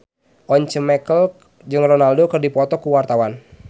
Once Mekel jeung Ronaldo keur dipoto ku wartawan